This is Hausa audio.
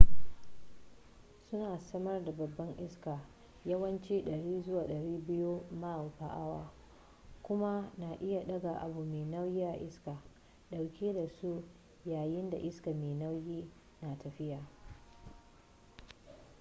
suna samar da babban iska yawanci 100-200 mil/awa kuma na iya daga abu mai nauyi a iska dauke da su yayinda iska mai nauyi na tafiya